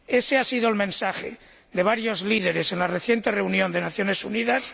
Ése ha sido el mensaje de varios líderes en la reciente reunión de las Naciones Unidas.